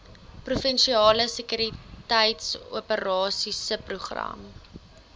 provinsiale sekuriteitsoperasies subprogram